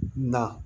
Na